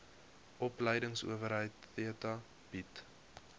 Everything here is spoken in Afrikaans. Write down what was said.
opleidingsowerheid theta bied